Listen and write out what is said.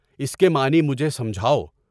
اس کے معنی مجھے سمجھاؤ۔